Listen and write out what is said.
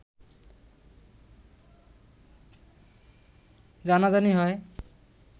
জানাজানি হয়